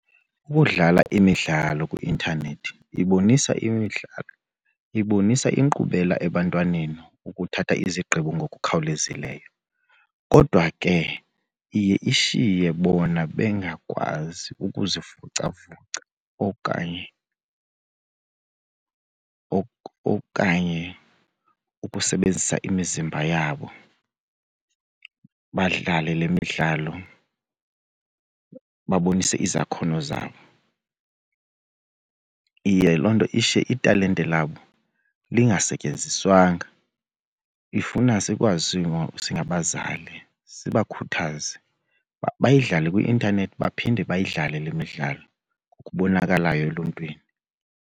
Ukudlala imidlalo kwi-intanethi ibonisa imidlalo, ibonisa inkqubela ebantwaneni ukuthatha izigqibo ngokukhawulezileyo. Kodwa ke iye ishiye bona bengakwazi ukuzivocavoca okanye okanye ukusebenzisa imizimba yabo, badlale le midlalo babonise izakhono zabo. Iye loo nto ishiye italente labo lingasetyenziswanga. Ifuna sikwazi singabazali sibakhuthaze uba bayidlale kwi-intanethi baphinde bayidlale le midlalo ngokubonakalayo eluntwini.